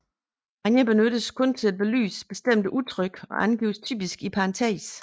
Hanja benyttes kun til at belyse bestemte udtryk og angives typisk i parentes